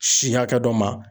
Si hakɛ dɔ ma.